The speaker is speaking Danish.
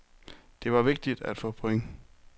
Det var vigtigt at få point.